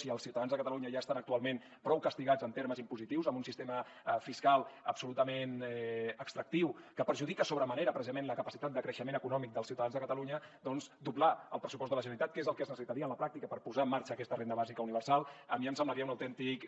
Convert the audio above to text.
si els ciutadans de catalunya ja estan actualment prou castigats en termes impositius amb un sistema fiscal absolutament extractiu que perjudica sobre manera precisament la capacitat de creixement econòmic dels ciutadans de catalunya doncs doblar el pressupost de la generalitat que és el que es necessitaria en la pràctica per posar en marxa aquesta renda bàsica universal a mi em semblaria un autèntic